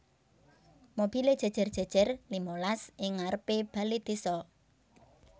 Mobile jejer jejer limalas ing ngarepe bale desa